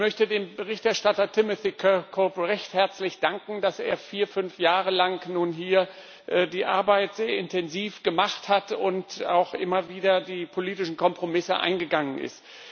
Ich möchte dem Berichterstatter Timothy Kirkhope recht herzlich danken, dass er vier, fünf Jahre lang nun hier die Arbeit intensiv gemacht hat und auch immer wieder die politischen Kompromisse eingegangen ist.